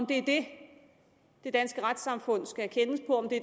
det det det danske retssamfund skal